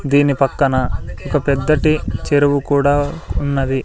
దీని పక్కన ఒక పెద్దటి చెరువు కూడా ఉన్నది.